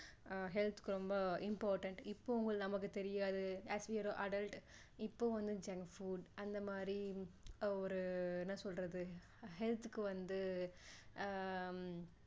அஹ் health க்கு ரொம்ப important இப்போ நமக்கு தெரியாது as we are adult இப்போ வந்து junk food அந்த மாதிரி ஒரு என்ன சொல்றது health க்கு வந்து ஆஹ்